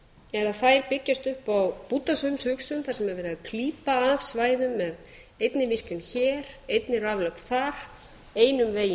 er að þær byggjast upp á bútasaumshugsun þar sem er verið að klípa af svæðum með einni línu hér einni raflögn þar einum vegi